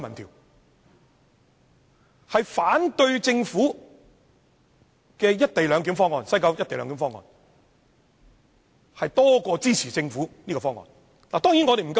結果顯示，反對政府西九"一地兩檢"方案比支持政府方案的還要多。